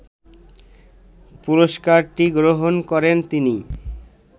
পুরস্কারটি গ্রহণ করেন তিনি